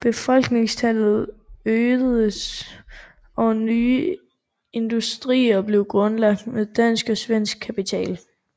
Befolkningstallet øgedes og nye industrier blev grundlagt med dansk og svensk kapital